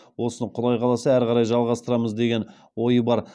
осыны құдай қаласа әрі қарай жалғастырамыз деген ой бар